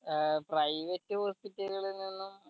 ഏർ private hospital ൽ നിന്നും